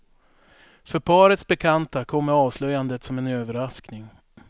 För parets bekanta kommer avslöjandet som en överraskning.